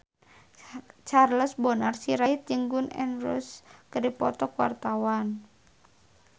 Charles Bonar Sirait jeung Gun N Roses keur dipoto ku wartawan